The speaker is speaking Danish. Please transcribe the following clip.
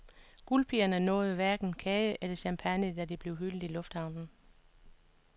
Guldpigerne nåede hverken kage eller champagne, da de blev hyldet i lufthavnen.